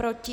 Proti?